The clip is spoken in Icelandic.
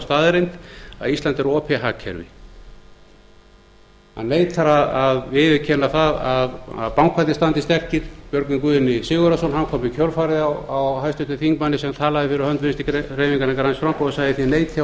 staðreynd að ísland er opið hagkerfi hann neitar að viðurkenna að bankarnir standi sterkir björgvin guðni sigurðsson kom í kjölfarið á háttvirtum þingmanni sem talaði fyrir hönd vinstri hreyfingarinnar græns framboðs og sagði þið neitið að horfast í